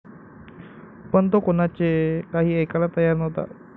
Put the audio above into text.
पण तो कुणाचे काही ऐकायला तयार नव्हता.